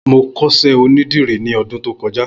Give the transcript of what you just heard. Mó kọṣẹ ónìdìrí ni ọ̀dùn tókọ̀já